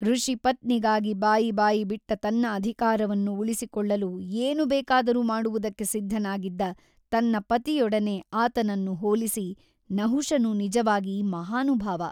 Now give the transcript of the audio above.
ಋಷಿಪತ್ನಿಗಾಗಿ ಬಾಯಿ ಬಾಯಿ ಬಿಟ್ಟ ತನ್ನ ಅಧಿಕಾರವನ್ನು ಉಳಿಸಿಕೊಳ್ಳಲು ಏನು ಬೇಕಾದರೂ ಮಾಡುವುದಕ್ಕೆ ಸಿದ್ಧನಾಗಿದ್ದ ತನ್ನ ಪತಿಯೊಡನೆ ಆತನನ್ನು ಹೋಲಿಸಿ ನಹುಷನು ನಿಜವಾಗಿ ಮಹಾನುಭಾವ !